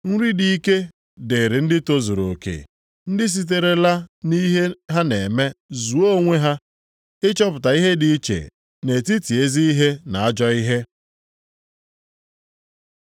Nri dị ike dịrị ndị tozuru oke, ndị siterela nʼihe ha na-eme zụọ onwe ha ịchọpụta ihe dị iche nʼetiti ezi ihe na ajọ ihe.